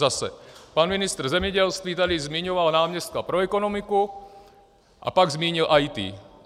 Zase, pan ministr zemědělství tady zmiňoval náměstka pro ekonomiku a pak zmínil IT.